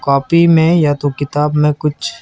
Coffee में या किताब में कुछ।